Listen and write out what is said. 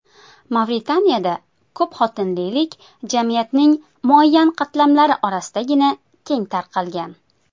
Mavritaniyada ko‘pxotinlilik jamiyatning muayyan qatlamlari orasidagina keng tarqalgan.